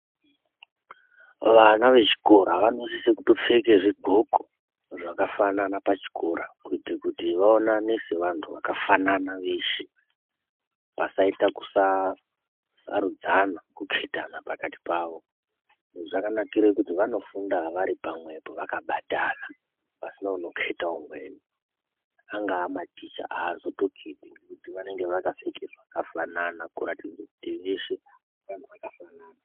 Vana vechikora vanosise kutopfeka zvigloko zvakafanana pachikora kuita kuti vaonane kuti vaonane sevantu vakafanana veshe pasaita kusarudzana kuketana pakati pavo zvakanakira pakuti vanofunda varipamwepo vakabatana pasina unokete umweni anga maticha anozotoketi ngekuti aneakapfeka zvakafana kuratidza veshe vanhu vakafana.